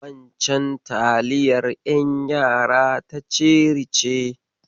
Waccen taliyar ƴan yara ta ceri ce?